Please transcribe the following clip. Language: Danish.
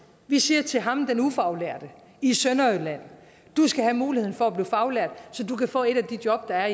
vi siger til ham den ufaglærte i sønderjylland du skal have muligheden for at blive faglært så du kan få et af de job der